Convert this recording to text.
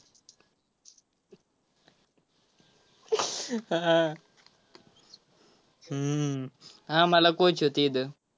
हा हम्म आम्हाला coach होते इथं.